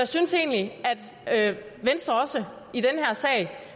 synes egentlig at venstre også i den her sag